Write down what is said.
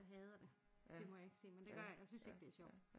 Jeg hader det det må jeg ikke sige men det gør jeg jeg synes ikke det er sjovt